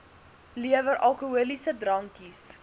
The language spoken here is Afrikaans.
lewer alkoholiese drankies